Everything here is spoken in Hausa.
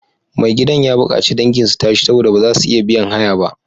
Mai gidan ya bukaci dangin su tashi saboda ba za su iya biyan haya ba.